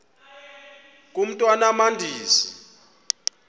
mntwan am andizi